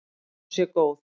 Ég held að hún sé góð.